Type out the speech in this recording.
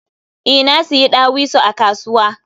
E, nasiyi ɗawisu a kasuwa.